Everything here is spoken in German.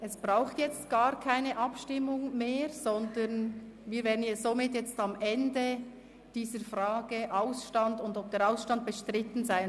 Es braucht jetzt gar keine Abstimmung mehr, sondern wir wären jetzt somit am Ende dieser Frage angelangt, ob Ausstand Ja beziehungsweise ob dieser Ausstand bestritten ist.